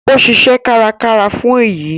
Ó ṣiṣẹ́ kárakára fún èyí